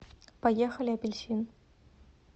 поехали апельсин